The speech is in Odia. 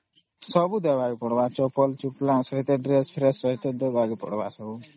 ସବୁ ଦେବାକେ ପଡିବା ଚପଲ ସହିତ Dress ସହିତ ସବୁ ଦେବାକେ ପଡିବା